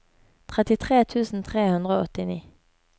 trettitre tusen tre hundre og åttini